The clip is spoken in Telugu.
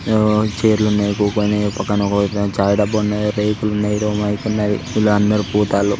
హు ఛైర్లున్నాయి పక్కన ఒక వైపు చాయ్ డబ్బా ఉన్నాయ్ రేకులున్నాయి ఎదో మైక్ ఉన్నది. --]